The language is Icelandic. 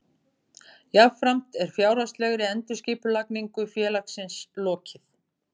Hvernig hann spilar með einni snertingu er magnað.